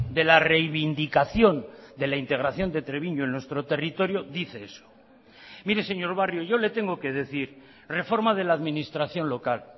de la reivindicación de la integración de treviño en nuestro territorio dice eso mire señor barrio yo le tengo que decir reforma de la administración local